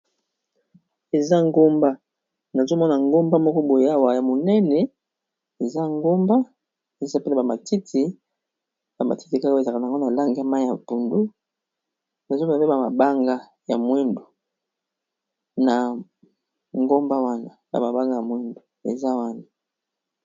Eza ngomba na zomona ngomba moko boyawa ya monene eza ngomba eza pele bamatiti ya matiti kako ezaka n yango na langa mai ya pundu na zom bampe ba mabanga ya mwendu na ngomba wanaya mabanga ya mwendu eza wana